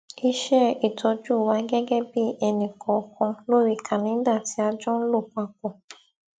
iṣẹ ìtọjú wa gẹgẹ bí ẹnìkòòkan lórí kàléńdà tí a jọ n lò papò